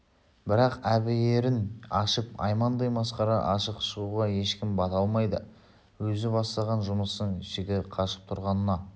бірақ әбиірін ашып аймандай масқараға ашық шығуға ешкім бата алмайды өзі бастаған жұмыстың жігі қашып тұрғанына